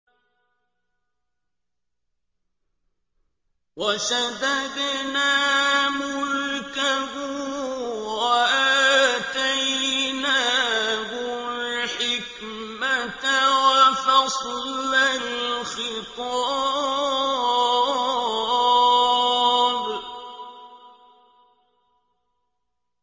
وَشَدَدْنَا مُلْكَهُ وَآتَيْنَاهُ الْحِكْمَةَ وَفَصْلَ الْخِطَابِ